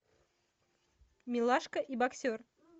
милашка и боксер